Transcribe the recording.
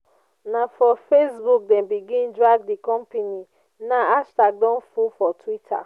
na for facebook dem begin drag di company now hashtag don full for twitter.